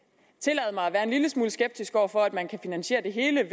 være en lille smule skeptisk over for at man kan finansiere det hele